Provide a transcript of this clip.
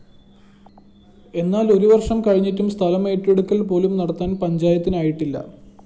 എന്നാല്‍ ഒരു വര്‍ഷം കഴിഞ്ഞിട്ടും സ്ഥലമേറ്റെടുക്കല്‍ പോലും നടത്താന്‍ പഞ്ചായത്തിനായിട്ടില്ല